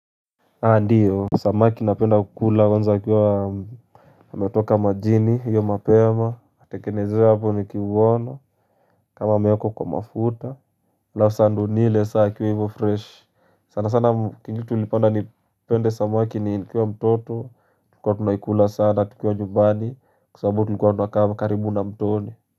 Ndiyo, samaki napenda kukula kwanza wakiwa wametoka majini hiyo mapema, natengenezewa hapo nikiuona kama wamewekwa kwa mafuta Halafu sasa ndiyo nile sasa ikiwa hivo fresh sana sana kingitulipenda nipende samaki nikiwa mtoto Tulikua tunaikula sana tukiwa nyumbani Kwa sabu tulikuwa tunakaa karibu na mtoni.